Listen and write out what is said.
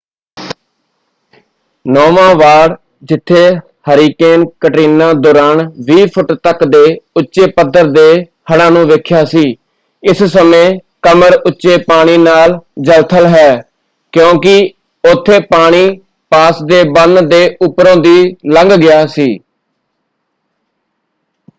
ਨੌਵਾਂ ward ਜਿੱਥੇ hurricane Katrina ਦੌਰਾਨ 20 foot ਤੱਕ ਦੇ ਉੱਚੇ ਪੱਧਰ ਦੇ ਹੜ੍ਹਾਂ ਨੂੰ ਵੇਖਿਆ ਸੀ ਇਸ ਸਮੇਂ ਕਮਰ-ਉੱਚੇ ਪਾਣੀ ਨਾਲ ਜਲ-ਥਲ ਹੈ ਕਿਉਂਕਿ ਉੱਥੇ ਪਾਣੀ ਪਾਸ ਦੇ ਬੰਨ੍ਹ ਦੇ ਉੱਪਰੋਂ ਦੀ ਲੰਘ ਗਿਆ ਸੀ।